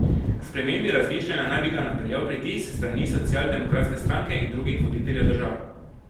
K spremembi razmišljanja naj bi ga napeljal pritisk s strani socialdemokratske stranke in drugih voditeljev držav.